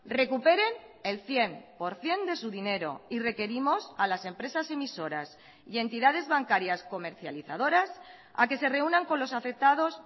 recuperen el cien por ciento de su dinero y requerimos a las empresas emisoras y entidades bancarias comercializadoras a que se reúnan con los afectados